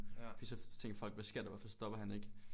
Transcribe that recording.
Fordi så tænker folk hvad sker der hvorfor stopper han ikke